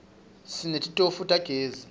sinetitofu tagezi